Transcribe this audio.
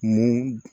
Ni